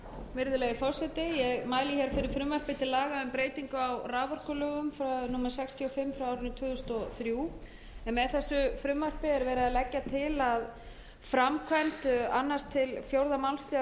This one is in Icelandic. númer sextíu og fimm tvö þúsund og þrjú með þessu frumvarpi er verið að leggja til að framkvæmd annars til fjórða málsl